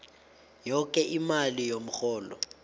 yoke imali yomrholo